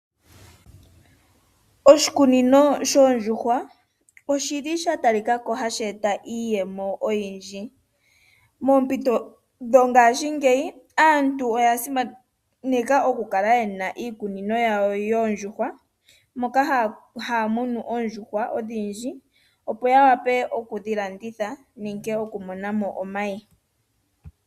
Oshikunino shoondjuhwa oshili sha talikako hashi eta iiyemo oyindji. Moompito dhongashingeyi aantu oya simaneka oku kala yena iikunino yawo yoondjuhwa moka haya munu oondjuhwa odhindji opo ya wape okudhi landitha nenge okumona mo omayi.